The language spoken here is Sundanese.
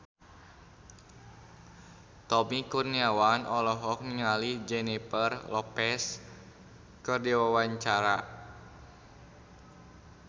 Tommy Kurniawan olohok ningali Jennifer Lopez keur diwawancara